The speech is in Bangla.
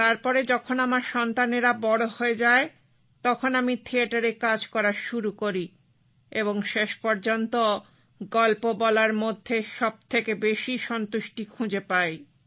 তারপরে যখন আমার সন্তানেরা বড় হয়ে যায় তখন আমি থিয়েটারে কাজ করা শুরু করি এবং শেষ পর্যন্ত গল্প বলার মধ্যেই সবথেকে বেশি তৃপ্তি খুঁজে পাই